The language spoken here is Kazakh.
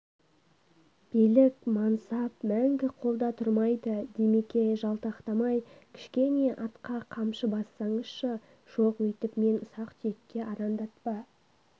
билік мансап мәңіг қолда тұрмайды димеке жалтақтамай кішкене атқа қамшы бассаңызшы жоқ өйтіп мен ұсақ-түйекке арандатпа